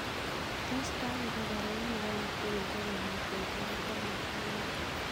Tos kagopwa baruonok alak tugul raa kongeten saait taman raini